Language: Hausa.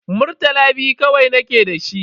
Murtala biyu kawai nake da shi.